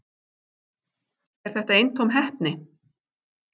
Er þetta eintóm heppni